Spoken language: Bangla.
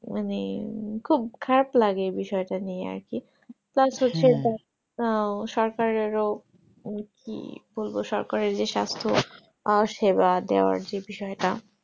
মানে খুব খারাপ লাগে বিষয়টা নিয়ে আরকি ও সরকারেও কি বলবো সরকারের যে সাস্থ আর সেবা দেওয়ার যে বিষয়টা